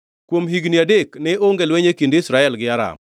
Kuom higni adek ne onge lweny e kind Israel gi Aram